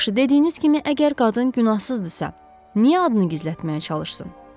Yaxşı, dediyiniz kimi, əgər qadın günahsızdırsa, niyə adını gizlətməyə çalışsın?